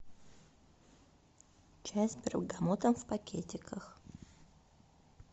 чай с бергамотом в пакетиках